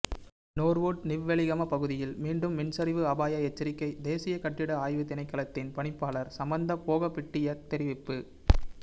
நோர்வூட் நிவ்வெளிகம பகுதியில் மீண்டும் மண்சரிவு அபாய எச்சரிக்கை தேசிய கட்டிட ஆய்வு தினைக்களத்தின் பணிப்பாளர் சமந்த போகாபிட்டிய தெரிவிப்பு